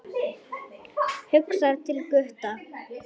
Hugsar til Gutta.